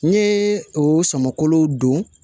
N ye o sɔmɔkolo don